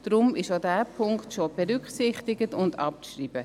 Deshalb ist auch dieser Punkt berücksichtigt und abzuschreiben.